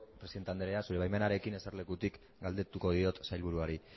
presidente andrea zure baimenarekin eserlekutik galdetuko diot sailburuari